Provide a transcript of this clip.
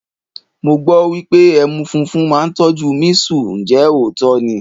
Mo gbọ́ wípé ẹmu funfun máa ń tọ́jú mísù, ǹjẹ́ òótọ́ ni?